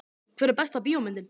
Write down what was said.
Hver er besta bíómyndin?